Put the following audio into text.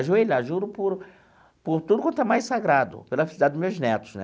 Ajoelhar, juro por por tudo quanto é mais sagrado, pela felicidade dos meus netos, né?